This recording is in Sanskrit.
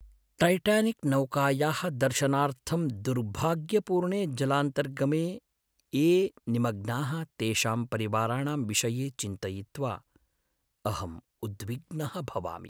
टैटानिक्नौकायाः दर्शनार्थं दुर्भाग्यपूर्णे जलान्तर्गमे ये निमग्नाः तेषां परिवाराणां विषये चिन्तयित्वा अहम् उद्विग्नः भवामि।